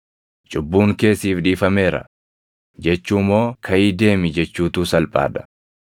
‘Cubbuun kee siif dhiifameera’ jechuu moo ‘Kaʼii deemi’ jechuutu salphaa dha?